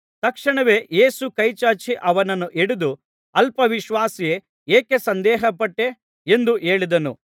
ತಕ್ಷಣವೇ ಯೇಸು ಕೈಚಾಚಿ ಅವನನ್ನು ಹಿಡಿದು ಅಲ್ಪ ವಿಶ್ವಾಸಿಯೇ ಏಕೆ ಸಂದೇಹ ಪಟ್ಟೆ ಎಂದು ಹೇಳಿದನು